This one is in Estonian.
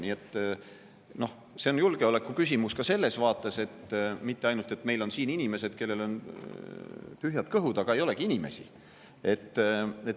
Nii et see on julgeolekuküsimus ka selles vaates, et mitte ainult meil ei ole siin inimesed, kellel on tühjad kõhud, aga ei olegi inimesi.